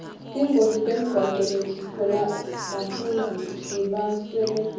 tingoti temgwaco letitfolwa bafundzi tibaswelekise